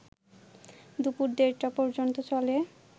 দুপুর দেড়টা পর্যন্ত চলে